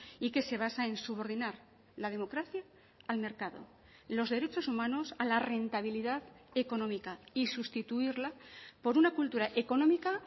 y que se basa en subordinar la democracia al mercado los derechos humanos a la rentabilidad económica y sustituirla por una cultura económica